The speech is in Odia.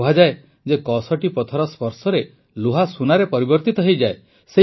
କୁହାଯାଏ ଯେ କଷଟିପଥର ସ୍ପର୍ଶରେ ଲୁହା ସୁନାରେ ପରିବର୍ତିତ ହୋଇଯାଏ